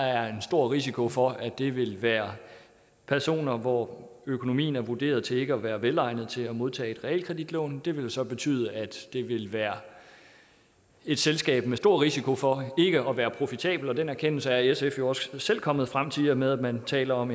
er en stor risiko for at det vil være personer hvor økonomien er vurderet til ikke at være velegnet til at modtage realkreditlån det vil så betyde at det vil være et selskab med stor risiko for ikke at være profitabelt og den anerkendelse er sf jo også selv kommet frem til i og med at man taler om